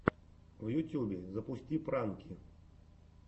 в ютюбе запусти пранки